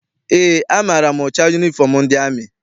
Eé, amaara m ụcha yunifọm ndị amị.